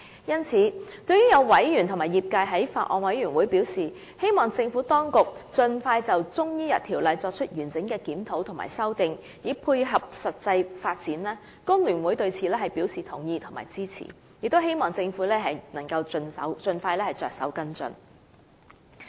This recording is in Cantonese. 因此，對於有委員和業界在法案委員會會議席上表示，希望政府當局盡快就《條例》作出完整的檢討和修訂，以配合實際發展，工聯會對此表示同意並支持，亦希望政府能夠盡快着手跟進。